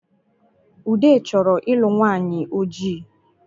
Ude chọrọ ịlụ nwanyị ojii